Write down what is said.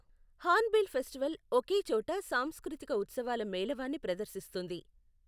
Hornbill festival ఒకే చోట సాంస్కృతిక ఉత్సవాల మేళవాన్ని ప్రదర్శిస్తుంది.